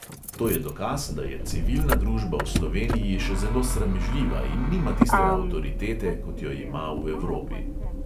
To je dokaz, da je civilna družba v sloveniji še zelo sramežljiva in nima tiste avtoritete, kot jo ima v evropi.